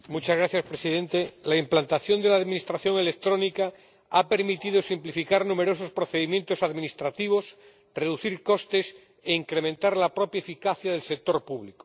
Señor Presidente, la implantación de la administración electrónica ha permitido simplificar numerosos procedimientos administrativos, reducir costes e incrementar la propia eficacia del sector público.